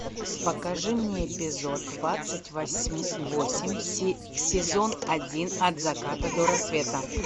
покажи мне эпизод двадцать восемь сезон один от заката до рассвета